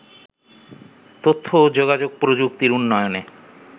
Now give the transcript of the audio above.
তথ্য ও যোগাযোগ প্রযুক্তির উন্নয়নে